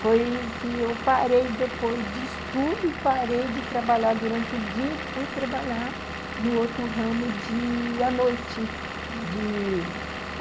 Foi que eu parei depois de estudo e parei de trabalhar durante o dia e fui trabalhar no outro ramo de... à noite de